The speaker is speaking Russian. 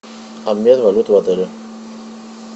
обмен валют в отеле